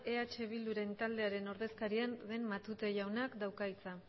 eh bildu ren taldearen ordezkaria den matute jaunak dauka hitza